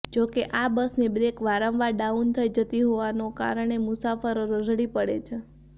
જોકે આ બસની બ્રેક વારંવાર ડાઉન થઈ જતી હોવાને કારણે મુસાફરો રઝળી પડે છે